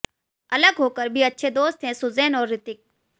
अलग होकर भी अच्छे दोस्त हैं सुजैन और ऋतिक